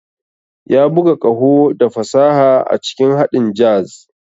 Ya buga ƙaho da fasaha a cikin haɗin jazz.